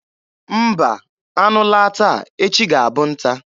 Mba, anụ laa taa, echi ga-abụ nta.